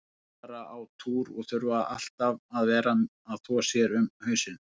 Þær fara á túr og þurfa alltaf að vera að þvo sér um hausinn.